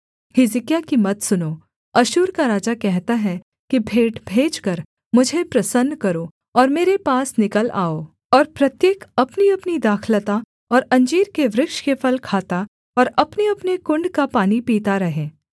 हिजकिय्याह की मत सुनो अश्शूर का राजा कहता है कि भेंट भेजकर मुझे प्रसन्न करो और मेरे पास निकल आओ और प्रत्येक अपनीअपनी दाखलता और अंजीर के वृक्ष के फल खाता और अपनेअपने कुण्ड का पानी पीता रहे